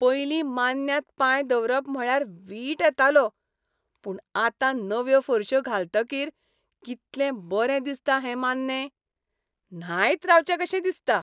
पयलीं मान्न्यांत पांय दवरप म्हळ्यार वीट येतालो. पूण आतां नव्यो फरश्यो घालतकीर कितलें बरें दिसता हें मान्नें. न्हायत रावचें कशें दिसता.